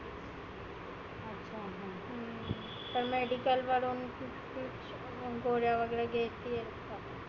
तर medicle वरुण गोळ्या वगैरे घेती आहे.